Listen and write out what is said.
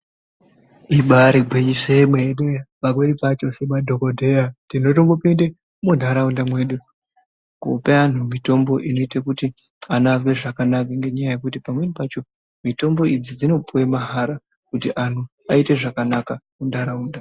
Ibaari ngwinyiso yenene, pamweni pacho semadhokodhera tinombopinda muntharaunda mwedu kupa anthu mitombo inoite kuti anthu azwe zvakanaka , nenyaya yekuti pamweni pacho, mitombo idzi dzinopuwa mahara kuti anthu aite zvakanaka muntharaunda.